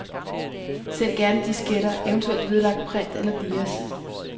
Send gerne disketter, eventuelt vedlagt print eller dias.